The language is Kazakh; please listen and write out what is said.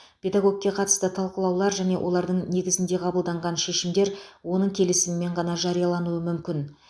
педагогке қатысты талқылаулар және олардың негізінде қабылданған шешімдер оның келісімімен ғана жариялануы мүмкін